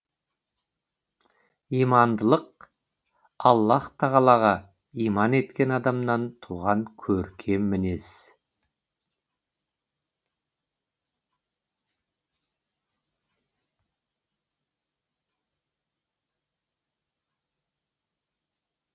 имандылық аллаһ тағалаға иман еткен адамнан туған көркем мінез